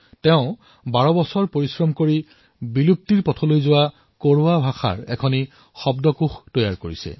তেওঁ ১২ বছৰৰ অৰ্থক পৰিশ্ৰমৰ পিছত বিলুপ্ত হবলৈ ধৰা কোৰৱা ভাষাৰ এক শব্দকোষ প্ৰস্তুত কৰিছে